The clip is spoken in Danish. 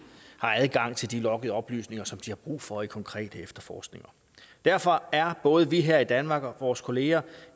adgang til de loggede oplysninger som de har brug for i konkrete efterforskninger derfor er både vi her i danmark og vores kollegaer